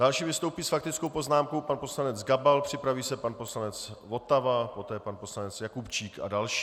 Další vystoupí s faktickou poznámkou pan poslanec Gabal, připraví se pan poslanec Votava, poté pan poslanec Jakubčík a další.